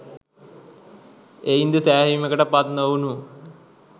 එයින්ද සෑහීමකට පත්නොවුණු